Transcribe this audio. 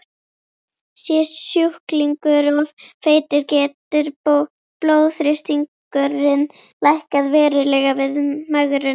Sé sjúklingur of feitur getur blóðþrýstingurinn lækkað verulega við megrun.